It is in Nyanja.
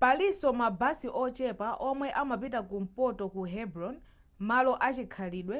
palinso mabasi ochepa omwe amapita kumpoto ku hebron malo achikhalidwe